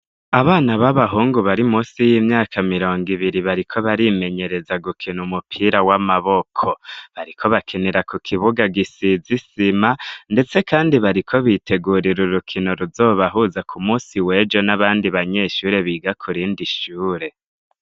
Abana b'abahungu bari munsi y'imyaka mirongo ibiri bariko barimenyereza gukina umupira w'amaboko. Bariko bakinira ku kibuga gisize isima, ndetse kandi bariko bitegurira urukino ruzobahuza ku munsi w'ejo n'abandi banyeshure biga ku rindi ishure.